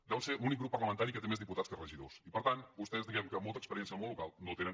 deuen ser l’únic grup parlamentari que té més diputats que regidors i per tant vostès diguem que molta experiència en el món local no en tenen